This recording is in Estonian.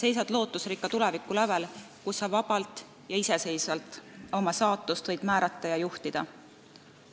Sa seisad lootusrikka tuleviku lävel, kus sa vabalt ja iseseisvalt oma saatust võid määrata ja juhtida!